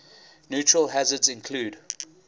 natural hazards include